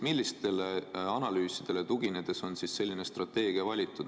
Millistele analüüsidele tuginedes on selline strateegia valitud?